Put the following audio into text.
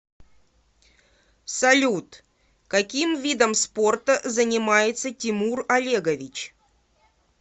салют каким видом спорта занимается тимур олегович